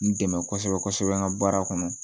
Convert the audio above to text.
N dɛmɛ kosɛbɛ kosɛbɛ n ka baara kɔnɔ